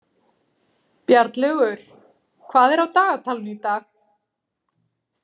Bjarnlaugur, hvað er á dagatalinu í dag?